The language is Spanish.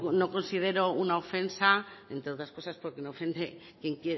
no considero una ofensa entre otras cosas porque no ofende quien